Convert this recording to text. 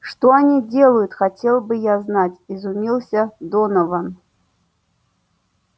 что они делают хотел бы я знать изумился донован